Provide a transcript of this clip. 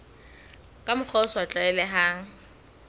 ka mokgwa o sa tlwaelehang